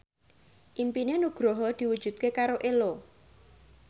impine Nugroho diwujudke karo Ello